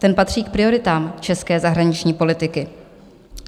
Ten patří k prioritám české zahraniční politiky.